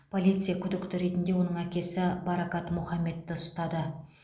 полиция күдікті ретінде оның әкесі баракат мохаммедті ұстады